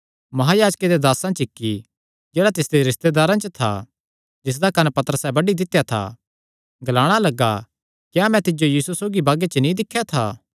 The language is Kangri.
महायाजके दे दासां च इक्की जेह्ड़ा तिसदे रिस्तेदारां च था जिसदा कंन्न पतरसैं बड्डी दित्या था ग्लाणा लग्गा क्या मैं तिज्जो यीशु सौगी बागे च नीं दिख्या था